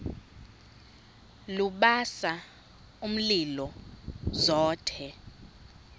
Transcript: lubasa umlilo zothe